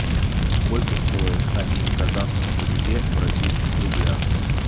сколько стоит один казахский тенге в российских рублях